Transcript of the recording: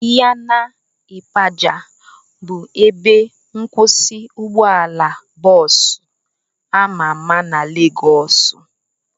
Ịyana ịpaja bụ ebe nkwụsị ụgbọala bọọsu ama ama na Legọs